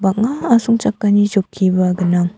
banga asongchakani chokiba gnang.